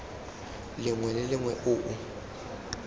lengwe le lengwe o o